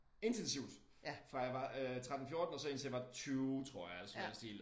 Intensivt fra jeg var øh 13 14 og så indtil jeg var 20 tror jeg eller sådan noget i den stil